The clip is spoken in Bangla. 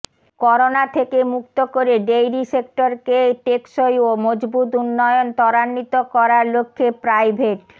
করোনা থেকে মুক্ত করে ডেইরি সেক্টরকে টেকসই ও মজবুত উন্নয়ন ত্বরান্বিত করার লক্ষ্যে প্রাইভেট